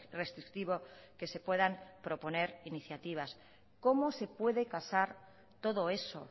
restrictivo que se puedan proponer iniciativas cómo se puede casar todo eso